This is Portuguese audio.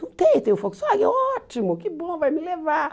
Não tem, tem o Volkswagen, ótimo, que bom, vai me levar.